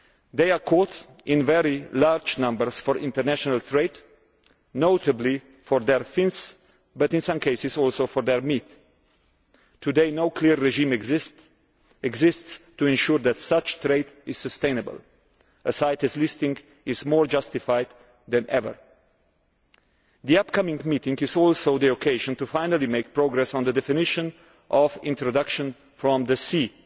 They are caught in very large numbers for international trade, notably for their fins but in some cases also for their meat. Today no clear regime exists to ensure that such trade is sustainable. A CITES listing is more justified than ever. The upcoming meeting is also the occasion to finally make progress on the definition of introduction from the